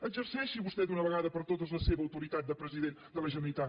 exerceixi vostè d’una vegada per totes la seva autoritat de president de la generalitat